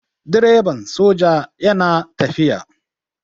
Direban soja yana tafiya.